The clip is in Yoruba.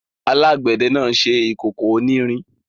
Alágbẹ̀dẹ náà ṣe ìkókó onírin.